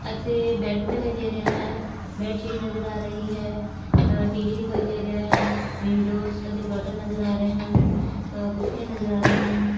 ਅਤੇ ਬੇਡ ਦਿਖਾਈ ਦੇ ਰਿਹਾ ਹੈ ਬੇਡਸ਼ੀਟ ਨਜਰ ਆ ਰਿਹਾ ਹੈ ਆ ਟੀ_ਵੀ ਦਿਖਾਈ ਦੇ ਰਿਹਾ ਹੈ ਵਿੰਡੋਜ਼ ਤੇ ਓਹਦੇ ਕਰਟੇਨ ਨਜਰ ਆ ਰਹੇ ਹਨ ਕੂਰਸਿਆਂ ਨਜਰ ਆ ਰਹਿਆਂ ਹਨ।